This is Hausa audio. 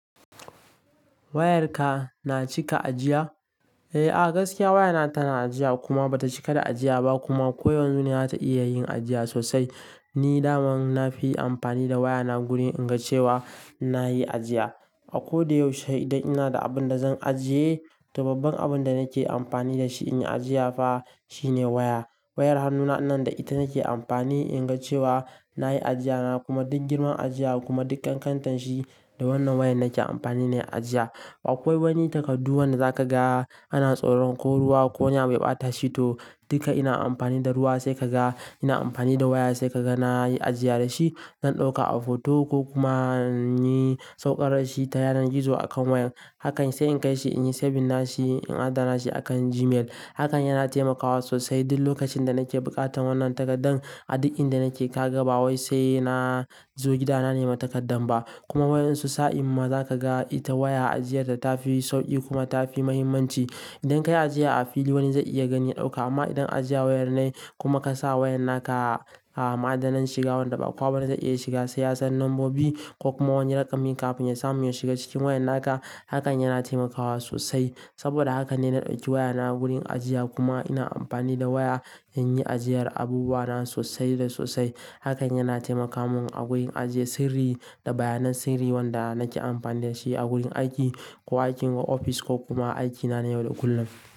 Wayarka na cika ajiya? Eh, gaskiya wayana tana ajiya kuma ba ta cika da ajiya ba kuma ko yanzu ne za ta iya yin ajiya sosai. Ni daman na fi amfani da wayana gurin in ga cewa na yi ajiya. A ko da yaushe idan ina da abin da zan ajiye, to babban abin da nake amfani da shi in yi ajiya fa shine waya. Wayar hannuna ɗin nan da ita nake amfani in ga cewa na yi ajiya na kuma duk girman ajiya kuma duk ƙan ƙantan shi da wannan waya nake amfani ne ajiya. Akwai wani takardu wanda za ka ga ana tsoron ko ruwa ko wani abu ya ɓata shi to, duka ina amfani da ruwa sai ka ga ina amfani da waya sai ka ga na yi ajiya da shi. Zan ɗauka a foto ko kuma in yi sauƙarar shi ta yanar gizo akan waya. Hakan sai in kai shi in yi saving na shi, in adana shi akan Gmail. Hakan yana taimakawa sosai duk lokacin da nake buƙatan wannan takardan, a duk inda nake ka ga ba wai sai na zo gidana nema takardan ba. Kuma waƴan su sa'in ma za ka ga ita waya ajiyar ta ta fi sauƙi kuma ta fi muhimmanci. Idan kayi ajiya a fili wani zan iya gani ɗauka amma idan ajiya wayar ne kuma ka sa wayan naka a ma'adanan shiga wanda ba kowa bane zai iya shiga sai ya san lambobi ko kuma wani raƙami kafin ya samu yayi shiga cikin wayan naka, hakan yana taimakawa sosai. Saboda haka ne na ɗauki wayana wurin ajiya kuma ina amfani da waya in yi ajiyar abubuwa na sosai da sosai. Hakan yana taimaka mun a wurin ajiye sirri da bayanan sirri wanda nake amfani da shi a wurin aiki ko aikin ofis ko kuma aikina na yau da kullum.